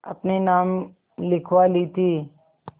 अपने नाम लिखवा ली थी